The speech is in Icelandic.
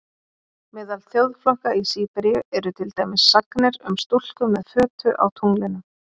Meðal þjóðflokka í Síberíu eru til dæmis sagnir um stúlku með fötu á tunglinu.